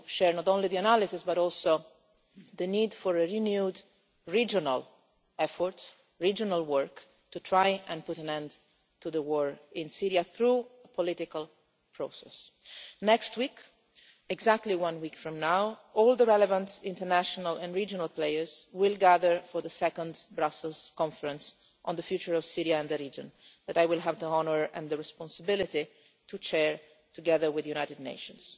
not only our analysis, but also the need for a renewed regional effort in order to try to put an end to the war in Syria through a political process. Next week, exactly one week from now, all the relevant international and regional players will gather for the second Brussels Conference on the future of Syria and the region, which I will have the honour and the responsibility to chair, together with the United Nations.